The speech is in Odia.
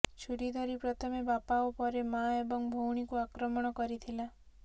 ଛୁରୀ ଧରି ପ୍ରଥମେ ବାପା ଓ ପରେ ମା ଏବଂ ଭଉଣୀଙ୍କୁ ଆକ୍ରମଣ କରିଥିଲା